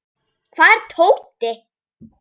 Hvar er Tóti?